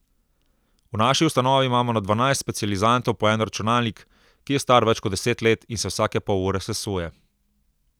V naši ustanovi imamo na dvanajst specializantov po en računalnik, ki je star več kot deset let in se vsake pol ure sesuje.